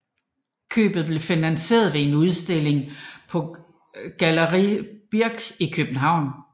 Købet blev finansieret ved en udstilling på Galerie Birch i København